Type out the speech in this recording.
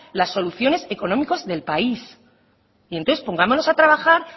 las soluciones económicas del país entonces pongámonos a trabajar